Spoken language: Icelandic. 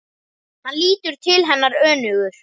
Hann lítur til hennar önugur.